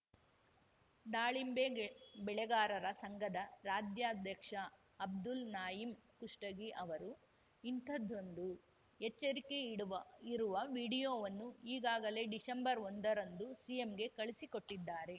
ದಾಳಿಂಬೆ ಗೆ ಬೆಳೆಗಾರರ ಸಂಘದ ರಾಜ್ಯಾಧ್ಯಕ್ಷ ಅಬ್ದುಲ್‌ ನಾಯಿಮ್‌ ಕುಷ್ಟಗಿ ಅವರು ಇಂಥದ್ದೊಂದು ಎಚ್ಚರಿಕೆ ಇಡುವ ಇರುವ ವಿಡಿಯೋವನ್ನು ಈಗಾಗಲೇ ಡಿಸೆಂಬರ್ ಒಂದರಂದು ಸಿಎಂಗೆ ಕಳುಹಿಸಿಕೊಟ್ಟಿದ್ದಾರೆ